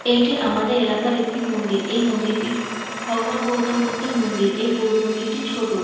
এটি আমাদের এলাকার একটি মন্দির এই মন্দিরটি ভগবান গৌতমবুদ্ধের মন্দির এই গৌর মন্দিরটি ছোট।